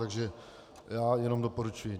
Takže já jenom doporučuji.